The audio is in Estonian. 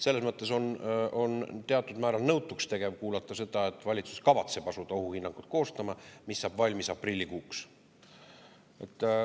Selles mõttes on teatud määral nõutuks tegev kuulata seda, et valitsus kavatseb asuda koostama ohuhinnangut, mis saab valmis aprillikuuks.